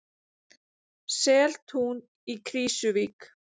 Seltún í Krýsuvík.